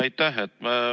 Aitäh!